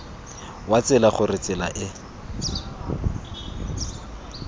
wa tsela gore tsela e